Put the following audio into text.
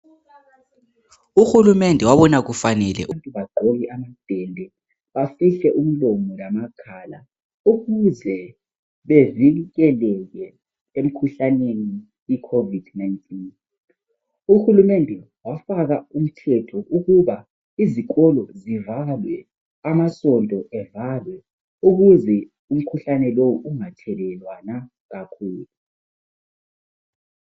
Uhulumende wabona kufanele ukuthi bagqoke amadende, bafihle umlomo lamakhala ukuze bevikeleke emkhuhlaneni icovid 19. Uhulumende wafaka umthetho ukuba izikolo zivalwe, amasonto evalwe ukuze umkhuhlane lowu ungathelelwana kakhulu.